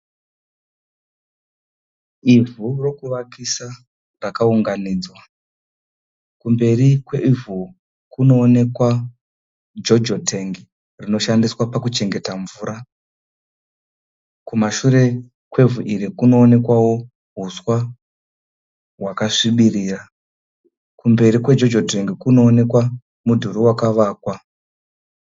Ivhu rokuvakisa rakaunganidzwa. Kumberi kwevhu kunoonekwa jojo tengi rinoshandiswa pakuchengeta mvura. Kumashure kwevhu iri kunoonekwawo huswa hwakasvibirira. Kumberi kwejojo tengi kunoonekwa mudhuri wakavakwa.